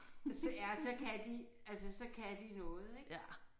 Ja så kan de altså så kan de noget ik